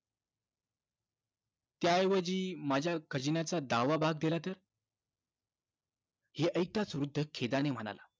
त्याऐवजी माझ्या खजिन्याचा दहावा भाग दिला तर? हे ऐकताच वृद्ध खेदानी म्हणाला,